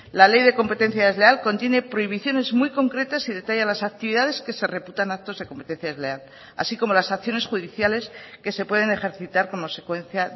la ley de competencia desleal contiene prohibiciones muy concretas y detalla las actividades que se reputan actos de competencia desleal así como las acciones judiciales que se pueden ejercitar como secuencia